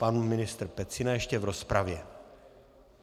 Pan ministr Pecina ještě v rozpravě.